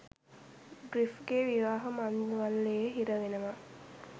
ග්‍රිෆ්ගෙ විවාහ මංගල්‍යයෙ හිරවෙනවා